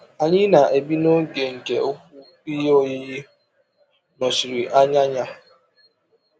Anyị na-ebi n’oge nke ụkwụ ihe oyiyi nọchiri anya ya.